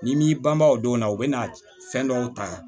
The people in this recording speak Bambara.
N'i m'i banban o don na o bɛna fɛn dɔw ta